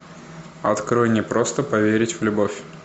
открой не просто поверить в любовь